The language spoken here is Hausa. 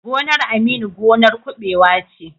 Gonar Aminu gonar kuɓewa ce.